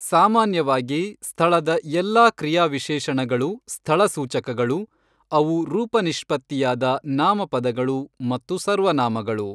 ಸಾಮಾನ್ಯವಾಗಿ ಸ್ಥಳದ ಎಲ್ಲಾ ಕ್ರಿಯಾವಿಶೇಷಣಗಳು "ಸ್ಥಳಸೂಚಕಗಳು", ಅವು ರೂಪನಿಷ್ಪತ್ತಿಯಾದ ನಾಮಪದಗಳು ಮತ್ತು ಸರ್ವನಾಮಗಳು.